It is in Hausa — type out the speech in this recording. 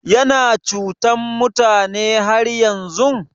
Yana cutan mutane har yanzun?